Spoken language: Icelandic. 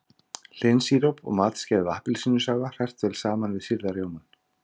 Hlynsíróp og matskeið af appelsínusafa hrært vel saman við sýrða rjómann.